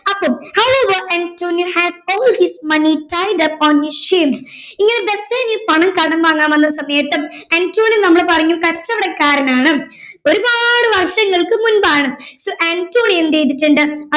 അപ്പോൾ however antonio has all of his money paid up on his ship ഈയൊരു Bassanio പണം കടം വാങ്ങാൻ വന്ന സമയത്തും അന്റോണിയോ നമ്മൾ പറഞ്ഞു കച്ചവടക്കാരൻ ആണ് ഒരുപാട് വർഷങ്ങൾക്കു മുമ്പാണ് so അന്റോണിയോ എന്ത് ചെയ്തിട്ടുണ്ട്